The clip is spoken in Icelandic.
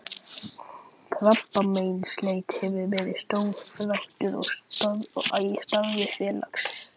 Krabbameinsleit hefur verið stór þáttur í starfi félagsins.